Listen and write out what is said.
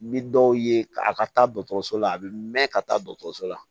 Ni dɔw ye a ka taa la a bi mɛn ka taa dɔgɔtɔrɔso la